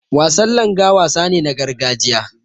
Wasan Langa wasa ne na gargajiya.